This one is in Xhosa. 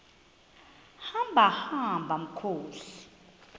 hamba hamba mkhozi